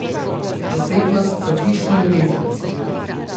Posebnost so hišni rezanci.